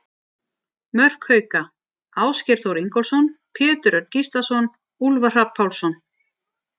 Mörk Hauka: Ásgeir Þór Ingólfsson, Pétur Örn Gíslason, Úlfar Hrafn Pálsson.